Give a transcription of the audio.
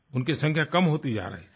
उनकी संख्या कम होती जा रही थी